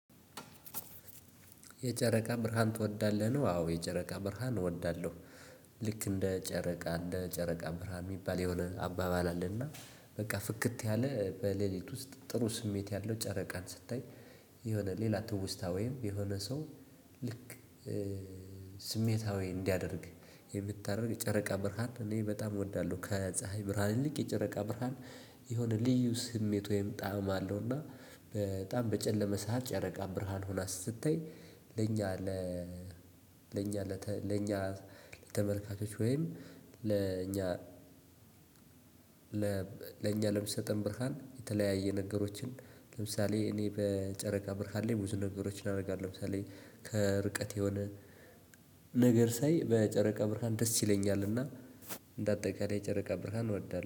የጨረቃ ብርሃን ትወዳለህ? ነው አዎ የጨረቃ ብርሃን እወዳለሁ። ልክ እንደ ጨረቃ እንደ ጨረቃ ብርሃን የሚባል የሆነ አባባል አለና በቃ ፍክት ያለ በሌሊት ውስጥ ጥሩ ስሜት ያለው ጨረቃን ስታይ። የሆነ ሌላ ትውስታ ወይም የሆነ ሰው። ልክ ስሜታዊ እንዳያደርግ። የምታደርግ ጨረቃ ብርሃን እኔ በጣም ወዳለሁ ከፀሀይ ብርሃን ይልቅ የጨረቃ ብርሃን። የሆነ ልዩ ስሜት ወይም ጣዕም አለው። እና በጣም በጨለመ ሰዓት ጨረቃ ብርሃን ሆና ስትታይ። ለኛ ለ ለኛ ለተ ለኛ ለተመልካቾች ወይም ለኛ ለእኛ ለኛ ለምትሰጠን ብርሃን የተለያየ ነገሮችን ለምሳሌ እኔ በጨረቃ ብርሃን ላይ ብዙ ነገሮችን አደርጋለሁ። ለምሳሌ ከርቀት የሆነ ነገር ሳይ በጨረቃ ብርሃን ደስ ይለኛልና። እንደ አጠቃላይ ጨረቃ ብርሃን እወዳለሁ